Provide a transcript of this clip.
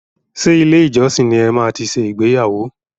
Ṣe ilé ìjọsìn ní e máa tí ṣe ìgbéyàwó?